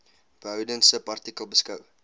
behoudens subartikel beskou